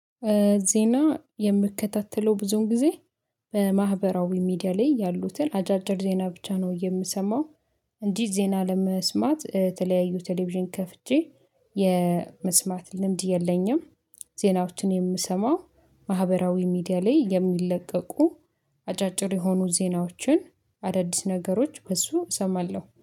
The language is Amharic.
ዜና የምከታተለው ብዙን ጊዜ በማህበራዊ ሚዲያ ላይ ያሉትን አጫጭር ዜና ብቻ ነው የምሰማው፤። እንዲህ ዜና ለመስማት የተለያዩ ቴሌቪዥን ከፍቼ የመስማት ልምድ የለኝም፤። ዜናዎችን የምሰማው ማህበራዊ ሚዲያ ላይ የሚለቀቁ አጫጭር የሆኑ ዜናዎችን አዳዲስ ነገሮች በሱ እሰማለሁ፤